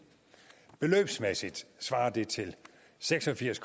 beløbsmæssigt svarer det til seks og firs